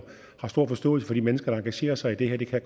har stor forståelse for de mennesker der engagerer sig i det her det kan